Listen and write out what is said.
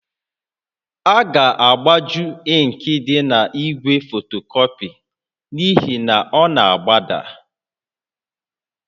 A ga-agbaju ịnkị dị n'igwe fotocopy n'ihi na ọ na-agbada